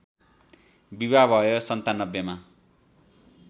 विवाह भयो ९७ मा